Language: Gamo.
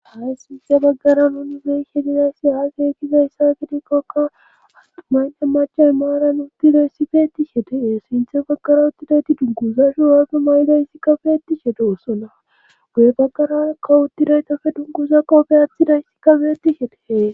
ha sinte baggara nunubey shedizayssi aasekizayssa kidikkoka adumaynne macha imaaran uttida sifeeti shedee sinthe baggara uttidayti dunguza shu waazdu may7dayssi kabeetti shedeosona guye baggara kawuttidaytafe dunguza qoofe athidytika betishe de'es